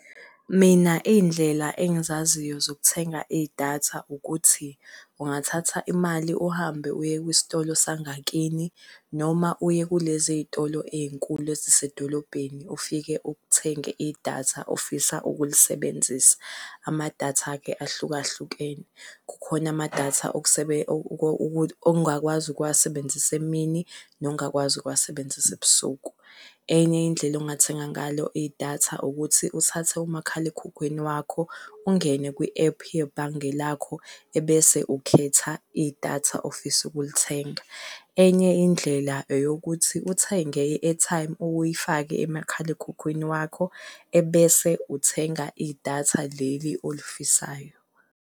Mina iy'ndlela engizaziyo zokuthenga idatha ukuthi ungathatha imali uhambe uye kwisitolo sangakini noma uye kulezi y'tolo ey'nkhulu ezisedolobheni ufike uthenge idatha ofisa ukulisebenzisa. Amadatha-ke ahlukahlukene, kukhona amadatha ongakwazi ukuwasebenzisa emini nongakwazi ukuwasebenzisa ebusuku. Enye indlela ongathenga ngalo idatha ukuthi uthathe umakhalekhukhwini wakho ungene kwi-ephu yebhange lakho ebese ukhetha idatha ofisa ukulithenga. Enye indlela eyokuthi uthenge i-airtime uyifake emakhalekhukhwini wakho ebese uthenga idatha leli olifisayo.